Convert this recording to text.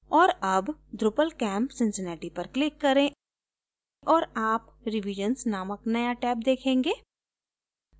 और अब drupalcamp cincinnati पर click करें और आप revisions नामक नया टैब देखेंगे